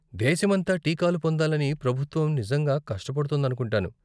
దేశమంతా టీకాలు పొందాలని ప్రభుత్వం నిజంగా కష్టపడుతోందనుకుంటాను.